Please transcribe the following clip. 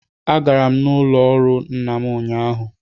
Agara m n'ụlọ ọrụ nna m ụnyahụ